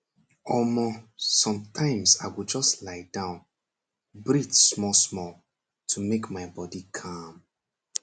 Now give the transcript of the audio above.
omor sometimes i go just lie down breathe smallsmall to make my body calm